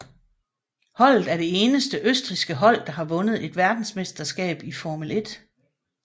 Holdet er det eneste østrigske hold der har vundet et verdensmesterskab i Formel 1